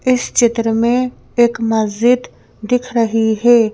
इस चित्र में एक मस्जिद दिख रही है।